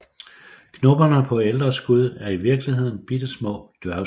Knopperne på ældre skud er i virkeligheden bittesmå dværgskud